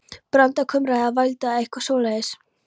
Branda kumraði eða vældi, eða eitthvað svoleiðis.